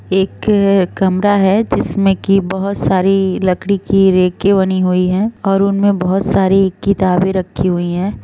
एक कमरा है जिसमे की बहोत सारी लकड़ी की रेके बनी हुई हैं और उनमें बहुत सारी किताबे रखी हुई हैं ।